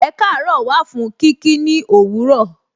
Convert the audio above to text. Ekaaro wà fún kí kí ni òwúrọ̀.